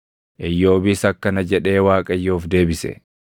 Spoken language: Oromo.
Iyyoobis akkana jedhee Waaqayyoof deebise: